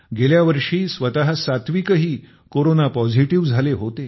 गेल्या वर्षी स्वत सात्विकही कोरोना पॉझिटिव्ह झाले होते